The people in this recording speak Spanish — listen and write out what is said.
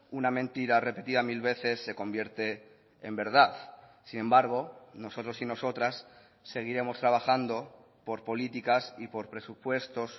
una mentira repetida mil veces se convierte en verdad sin embargo nosotros y nosotras seguiremos trabajando por políticas y por presupuestos